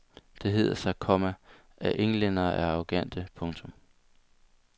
Det hedder sig, komma at englænderne er arrogante. punktum